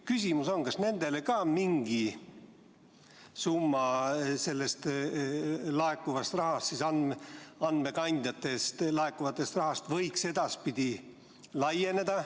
Kas kirjanikele võiks ka mingi summa sellest andmekandjate pealt laekuvast rahast võiks edaspidi laieneda?